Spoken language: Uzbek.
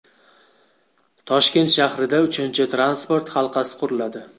Toshkent shahrida uchinchi transport halqasi quriladi.